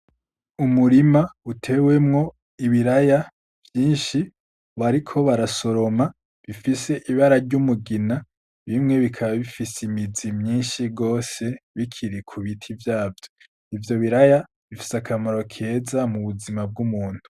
Umurima utewemwo ibiraya vyinshi ,bariko barasoroma bifise Ibara ry'umugina bimwe bikaba bifise imizi myinshi gose bikiri kubiti vyavyo ,ivyo biraya bifise akamaro keza mubuzima bw'umuntu.